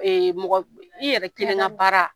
Mɔgɔ i yɛrɛ kelen ka baara